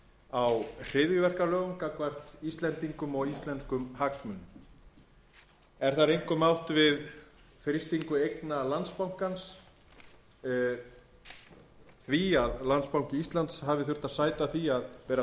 á hryðjuverkalögum gagnvart íslendingum og íslenskum hagsmunum er þar einkum átt við frystingu eigna landsbankans það að landsbanki íslands hafi þurft að sæta því að vera